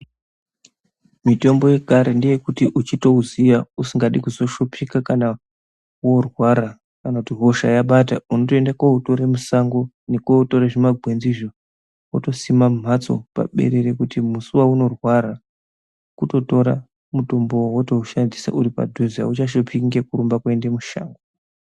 Mitombo yekare ndeyekuti uchitouziya usingadi kuzoshupika kana woorwara, kana kuti hosha yabata, unotoende kooutore kusango, nekootore zvimagwenzizvo, wotosima mumhatso paberere kuti musi waunorwara wototora, auchashiphiki wotoutora wotoushandisa uri padhuze auchashuphiki, ngekurumba kuende mushango.